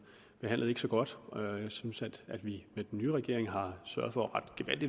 behandlet så godt jeg synes at at vi med den nye regering har sørget for